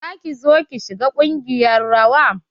Za ki zo ki shiga ƙungiyar rawa?